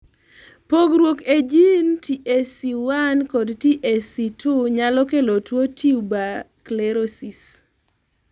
pogruok ei jin TSC1 kod TSC2 nyalo kelo tuo tuberous sclerosis